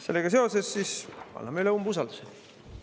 Sellega seoses anname üle umbusaldus.